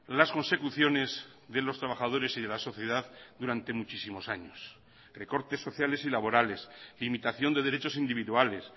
las consecuciones de los trabajadores y de la sociedad durante muchísimos años recortes sociales y laborales limitación de derechos individuales